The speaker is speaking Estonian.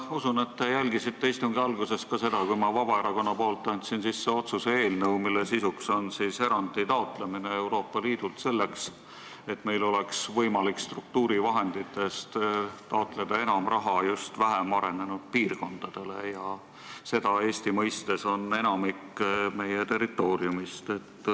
Ma usun, et te jälgisite istungi alguses seda, kui ma andsin Vabaerakonna nimel üle otsuse eelnõu, mille sisu on erandi taotlemine Euroopa Liidult selleks, et meil oleks võimalik struktuurifondidest taotleda enam raha just vähem arenenud piirkondadele, milleks Eestis on enamik meie territooriumist.